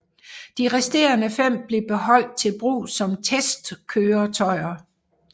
De resterende fem blev beholdt til brug som testkøretøjer